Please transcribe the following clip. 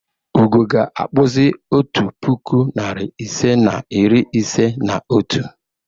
Ugo ga-akpụzi otu puku, narị ise na iri ise na otu.